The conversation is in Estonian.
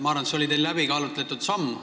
Ma arvan, et see oli teil läbikaalutud samm.